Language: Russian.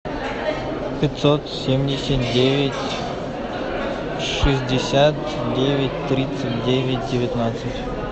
пятьсот семьдесят девять шестьдесят девять тридцать девять девятнадцать